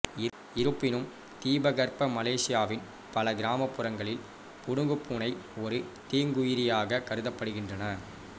இருப்பினும் தீபகற்ப மலேசியாவின் பல கிராமப்புறங்களில் புனுகுப்பூனை ஒரு தீங்குயிரியாகக் கருதப்படுகின்றன